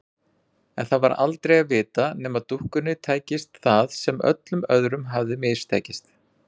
En það var aldrei að vita nema dúkkunni tækist það sem öllum öðrum hafði mistekist.